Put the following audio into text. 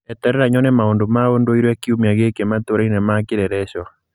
eterera nyone maũndũ ma ũndũire kiumia gĩkĩ matũra-inĩ ma kĩleleshwa